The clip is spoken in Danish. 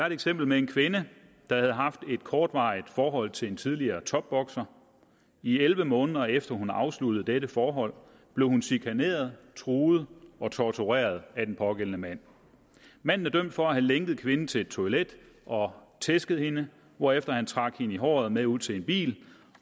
et eksempel med en kvinde der havde haft et kortvarigt forhold til en tidligere topbokser i elleve måneder efter hun havde afsluttet dette forhold blev hun chikaneret truet og tortureret af den pågældende mand manden er dømt for at have lænket kvinden til et toilet og tæsket hende hvorefter han trak hende i håret med ud til en bil